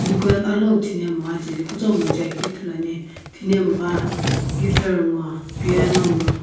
dukan alo thinemgha kutomo jae keu ithulu ane thinemgha guitar nguo piona nguo.